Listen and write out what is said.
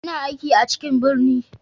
Ina aiki a cikin birni.